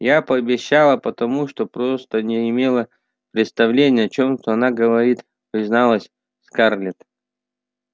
я пообещала потому что просто не имела представления о чем она говорит призналась скарлетт